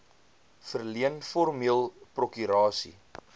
verleen formeel prokurasie